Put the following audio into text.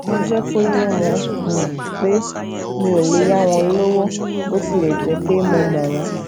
mo jé kó yé wọn um pé mi ò lè yá wọn lówó bó tilè jé pe mo mo won